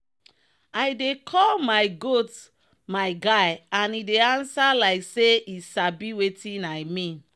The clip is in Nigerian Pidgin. i dey call my goat my guy and e dey answer like say e sabi wetin i mean.